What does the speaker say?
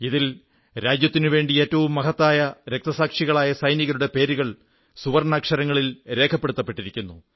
ഇതിൽ രാജ്യത്തിനുവേണ്ടി ഏറ്റവും മഹത്തായ രക്തസാക്ഷികളായ സൈനികരുടെ പേരുകൾ സുവർണ്ണാക്ഷരങ്ങളിൽ രേഖപ്പെടുത്തപ്പെട്ടിരിക്കുന്നു